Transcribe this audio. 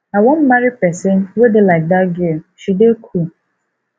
i wan marry person wey dey like dat girl she dey cool